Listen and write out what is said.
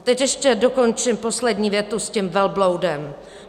A teď ještě dokončím poslední větu s tím velbloudem.